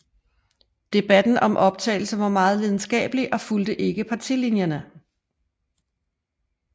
Debatten om optagelse var meget lidenskabelig og fulgte ikke partilinjerne